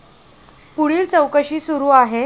पुढील चौकशी सुरू आहे.